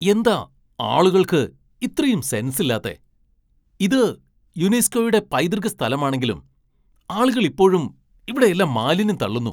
എന്താ ആളുകൾക്ക് ഇത്രയും സെൻസ് ഇല്ലാത്തെ ? ഇത് യുനെസ്കോയുടെ പൈതൃക സ്ഥലമാണെങ്കിലും ആളുകൾ ഇപ്പോഴും ഇവിടെയെല്ലാം മാലിന്യം തള്ളുന്നു.